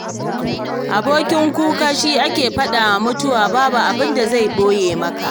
Abokin kuka shi ake faɗawa mutuwa, babu abinda zan ɓoye maka.